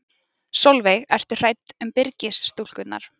Sólveig: Ertu hrædd um Byrgis-stúlkurnar?